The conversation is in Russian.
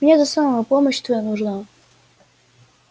мне это самое помощь твоя нужна